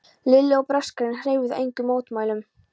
Lilli og Braskarinn hreyfðu engum mótmælum.